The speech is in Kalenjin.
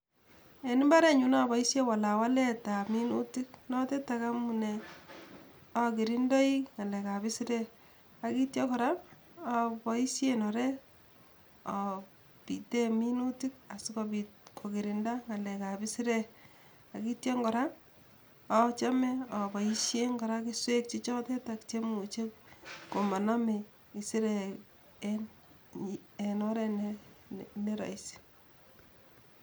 En imbarenyun aboishen walawaletab minutik notetak amunee akirindoi ng'alekab isirek ak itia kora aboishen orek abiten minutik sikobit kokirinda ngalekab isirek ak itia kora achome aboishen kora kerichek che chotetetak chemuche komaname isirek en oret neraisi